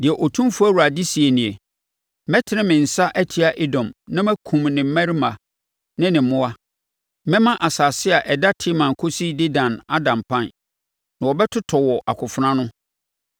deɛ Otumfoɔ Awurade seɛ nie: Mɛtene me nsa atia Edom na makum ne mmarima ne ne mmoa. Mɛma asase a ɛda Teman kɔsi Dedan ada mpan, na wɔbɛtotɔ wɔ akofena ano.